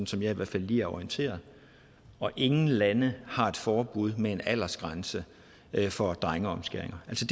som jeg i hvert fald lige er orienteret og ingen lande har et forbud med en aldersgrænse for drengeomskæringer altså